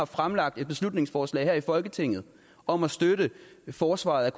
fremlagt et beslutningsforslag her i folketinget om at støtte forsvaret